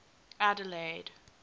adelaide